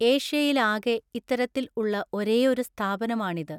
ഏഷ്യയിലാകെ ഇത്തരത്തിൽ ഉള്ള ഒരേയൊരു സ്ഥാപനമാണിത്.